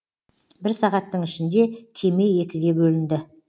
бір сағаттың ішінде кеме екіге бөлінді